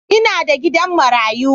Ina da gidan marayu.